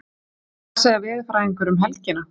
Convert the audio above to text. En hvað segja veðurfræðingarnir um helgina?